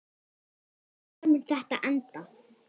Hvar mun þetta enda?